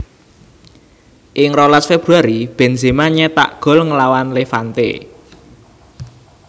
Ing rolas Februari Benzema nyétak gol nglawan Levante